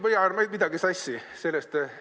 Või ajan ma midagi sassi?